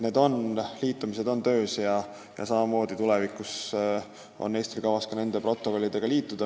Need liitumised on töös ja tulevikus on Eestil kavas ka need protokollid heaks kiita.